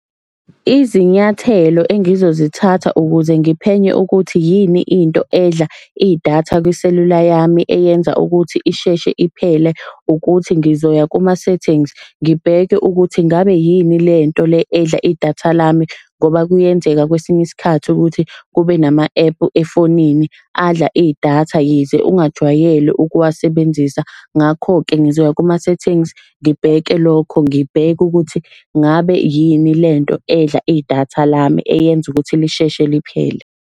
Izinyathelo engizozithatha ukuze ngiphenye ukuthi yini into edla idatha kwiselula yami eyenza ukuthi isheshe iphele, ukuthi ngizoya kuma-settings. Ngibheke ukuthi ngabe yini lento le edla idatha lami ngoba kuyenzeka kwesinye isikhathi ukuthi kube nama-ephu efonini adla idatha yize ungajwayele ukuwasebenzisa. Ngakho-ke ngizoya kuma-settings, ngibheke lokho, ngibheke ukuthi ngabe yini lento edla idatha lami eyenza ukuthi lisheshe liphele.